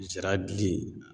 Zira bili